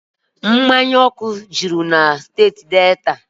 Mmanya ọkụ juru na steeti Delta